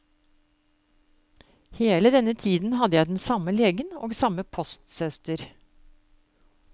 Hele denne tiden hadde jeg den samme legen og samme postsøster.